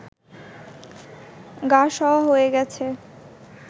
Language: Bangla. গা-সওয়া হয়ে গেছে